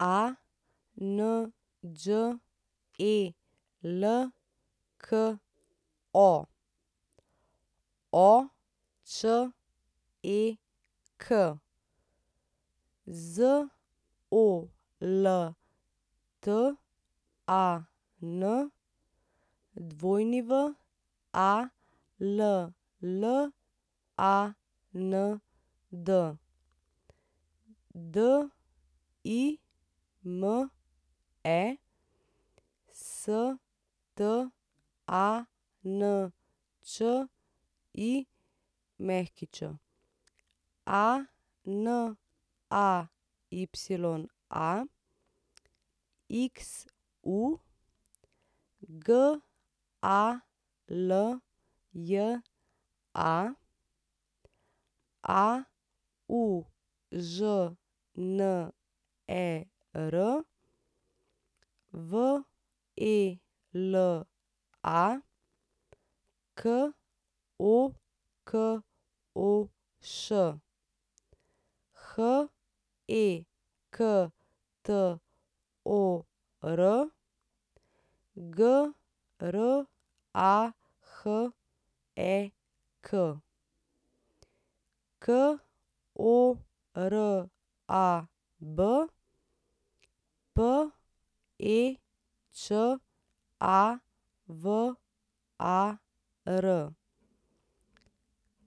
Anđelko Oček, Zoltan Walland, Dime Stančić, Anaya Xu, Galja Aužner, Vela Kokoš, Hektor Grahek, Korab Pečavar, Kancijan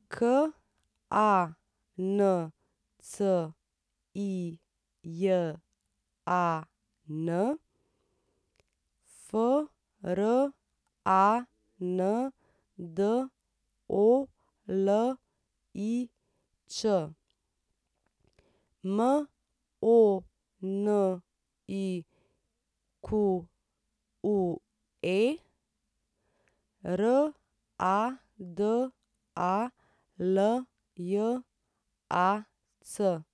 Frandolič, Monique Radaljac.